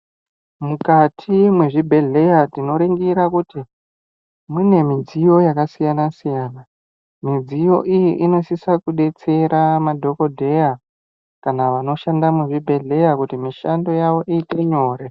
Mukati mwezvibhehleya tinoringira kuti mune midziyo yakasiyana-siyana. Midziyo iyi inosisa kudetsera madhogodheya kana vanoshanda muzvibhedhleya kuti mishando yavo iite nyore.